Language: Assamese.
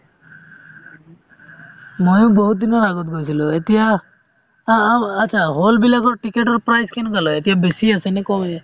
ময়ো বহুত দিনৰ আগত গৈছিলো এতিয়া আ~ আ~ achcha hall বিলাকৰ ticket ৰ price কেনেকুৱা লই এতিয়া বেছি আছে নে কমে